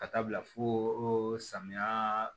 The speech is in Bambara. Ka taa bila fo samiya